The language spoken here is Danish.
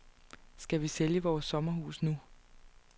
Skal vi sælge vores sommerhus nu?